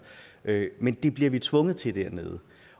men det bliver vi tvunget til dernede